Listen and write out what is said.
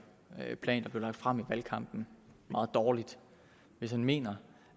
plan blev lagt frem i valgkampen meget dårligt hvis han mener